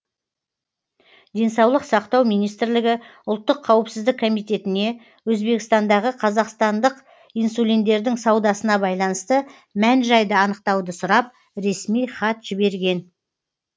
денсаулық сақтау министрлігі ұлттық қауіпсіздік комитетіне өзбекстандағы қазақстандық инсулиндердің саудасына байланысты мән жайді анықтауды сұрап ресми хат жіберген